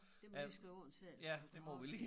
Det må du lige skrive under selv så har også